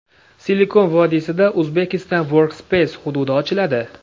Silikon vodiysida Uzbekistan Work Space hududi ochiladi.